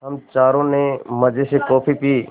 हम चारों ने मज़े से कॉफ़ी पी